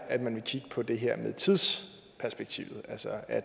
at man vil kigge på det her med tidsperspektivet altså at